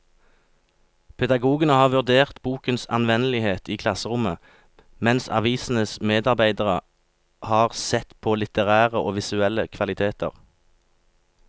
Pedagogene har vurdert bokens anvendelighet i klasserommet, mens avisens medarbeidere har sett på litterære og visuelle kvaliteter.